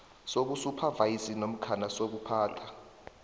sobusuphavayiza namkha sokuphatha